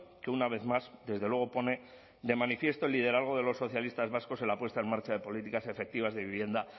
que una vez más desde luego pone de manifiesto el liderazgo de los socialistas vascos en la puesta en marcha de políticas efectivas de vivienda